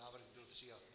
Návrh byl přijat.